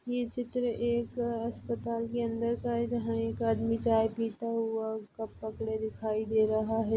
ये चित्र एक अस्पताल के अंदर का है जहाँ एक आदमी चाय पिता हुआ कप पकड़े दिखाई दे रहा है।